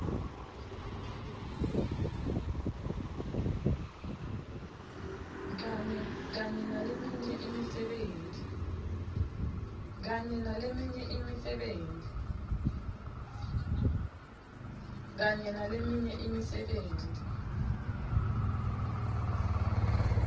kanye naleminye imisebenti